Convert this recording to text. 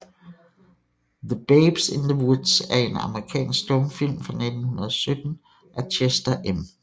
The Babes in the Woods er en amerikansk stumfilm fra 1917 af Chester M